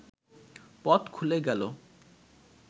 পথ খুলে গেল